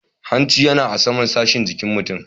Hanci yana a saman sashin jikin mutum.